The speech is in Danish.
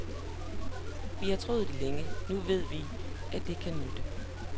Vi har troet det længe, nu ved vi, at det kan nytte.